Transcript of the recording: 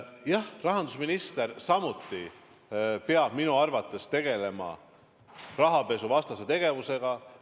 Jah, rahandusminister samuti peab minu arvates tegelema rahapesuvastase tegevusega.